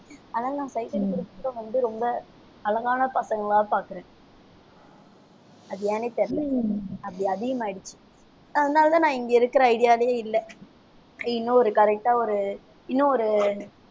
அதனால நான் sight அடிக்கறதுக்கும் வந்து ரொம்ப அழகான பசங்களா பார்க்கிறேன் அது ஏன்னே தெரியலே உம் அப்படி அதிகமாயிடுச்சு அதனாலதான் நான் இங்க இருக்கிற ஐடியாவிலேயே இல்லை. இன்னும் ஒரு correct ஆ ஒரு இன்னும் ஒரு